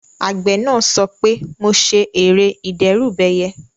Àgbẹ̀ náà sọ pé "mo ṣe ère ìdẹ́rùbẹyẹ"